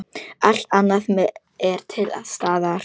Allt annað er til staðar.